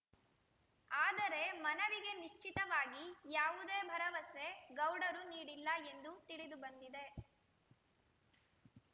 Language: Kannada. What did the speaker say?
ಆದರೆ ಮನವಿಗೆ ನಿಶ್ಚಿತವಾಗಿ ಯಾವುದೇ ಭರವಸೆ ಗೌಡರು ನೀಡಿಲ್ಲ ಎಂದು ತಿಳಿದು ಬಂದಿದೆ